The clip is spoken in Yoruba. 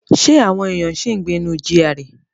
Ṣé àwọn èèyàn ṣì ń gbé inú GRA?